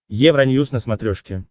евроньюс на смотрешке